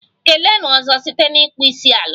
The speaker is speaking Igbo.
Keleenụ 'ozo' site n'ịkpọ isiala!